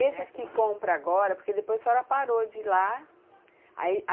Essas que compra agora, porque depois a senhora parou de ir lá, aí